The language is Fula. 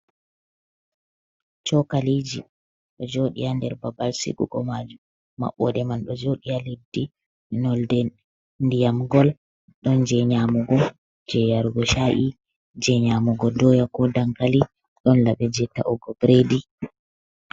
Chokaliji do jodi ha nder babal sigugo majum, mabɓode man do jodi ha leddi nolde diyam gol, ɗon je nyamugo je yargo sha’i je nyamugo doya ko dankali, don labe je ta’ugo bredi.